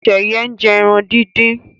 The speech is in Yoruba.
Sheye njé èràn dín dín.